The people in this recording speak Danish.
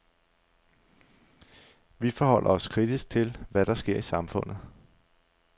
Vi forholder os kritisk til, hvad der sker i samfundet.